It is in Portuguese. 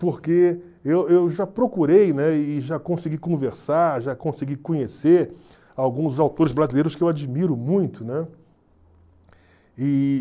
porque eu eu já procurei, né, e já consegui conversar, já consegui conhecer alguns autores brasileiros que eu admiro muito, né? E...